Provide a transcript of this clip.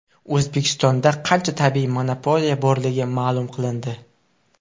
O‘zbekistonda qancha tabiiy monopoliya borligi ma’lum qilindi.